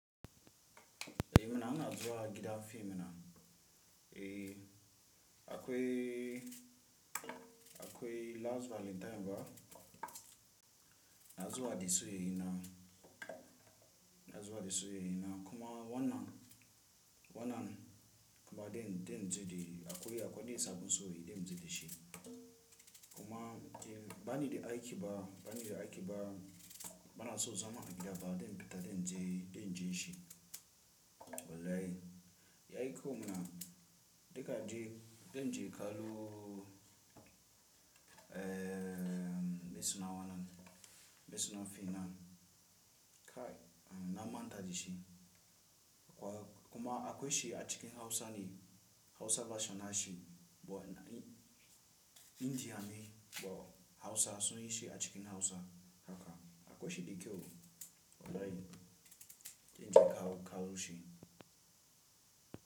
Eh mana ana zuwa a gidan fim mana. Eh akwai, akwai last valantine ba. Na zuwa da soyi ina, na zuwa da soyi ina kuma wannan, wannan kuma den, den ji d akwai, akwai densa gun soyi den ji da shi. Kuma banida aiki ba, banida aiki ba bana so zama a gida ba den bi ta den ji, den jin shi. Wallahi ya aiko mana dika ji den ji kaloo, ehm, bai suna wannan ba, bai suna fim nan kai na manta da shi. Kuma akwai shi a cikin Hausa ne Hausa version na shi. Bo inji hane bo Hausa sun yi shi a cikin Hausa. Haka akwai shi dakyau wallahi zanje in kaloo shi.